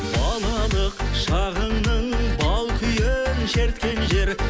балалық шағыңның бал күйін шерткен жер